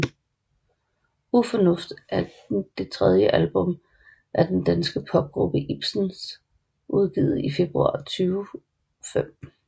Ufornuft er det tredje album af den danske popgruppe Ibens udgivet i februar 2005